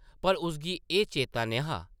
पर उसगी एह् चेता न’हा ।